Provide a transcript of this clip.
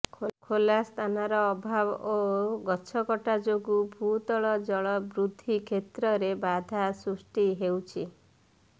ଖୋଲା ସ୍ଥାନର ଅଭାବ ଓ ଗଛକଟା ଯୋଗୁଁ ଭୂତଳ ଜଳ ବୃଦ୍ଧି କ୍ଷେତ୍ରରେ ବାଧା ସୃଷ୍ଟି ହେଉଛି